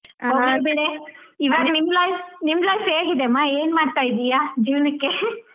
ಹೋಗ್ಲಿ ಬಿಡೆ ಇವಾಗ್ ನಿನ್ life ನಿಮ್ life ಹೇಗಿದೆ ಅಮ್ಮ ಏನ್ ಮಾಡ್ತಾ ಇದ್ದೀಯ ಜೀವನಕ್ಕೆ ?